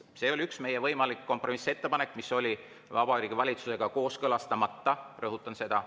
See oli üks meie võimalikke kompromissettepanekuid, mis oli Vabariigi Valitsusega kooskõlastamata, rõhutan seda.